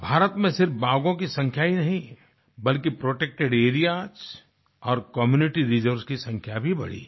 भारत में सिर्फ बाघों की संख्या ही नहीं बल्कि प्रोटेक्टेड एरियास और कम्यूनिटी रिजर्व्स की संख्या भी बढ़ी हैं